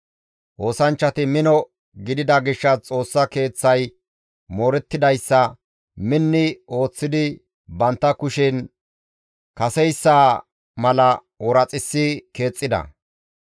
Oosanchchati mino gidida gishshas Xoossa Keeththay moorettidayssa minni ooththidi bantta kushen kaseyssa mala ooraxissi keexxida.